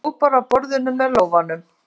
Ég fékk heimilisfangið hennar.